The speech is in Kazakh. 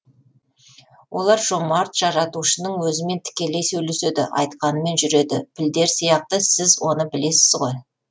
олар жомарт жаратушының өзімен тікелей сөйлеседі айтқанымен жүреді пілдер сияқты сіз оны білесіз ғой